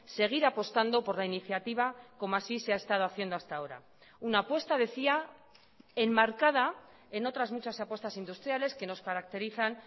seguir apostando por la iniciativa como así se ha estado haciendo hasta ahora una apuesta decía enmarcada en otras muchas apuestas industriales que nos caracterizan